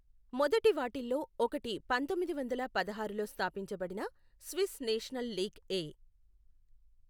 మొదటివాటిల్లో ఒకటి పంతొమ్మిది వందల పదహారులో స్థాపించబడిన స్విస్ నేషనల్ లీగ్ ఎ.